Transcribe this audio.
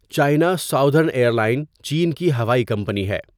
China Southern airline چین کی ہوائی کمپنی ہے۔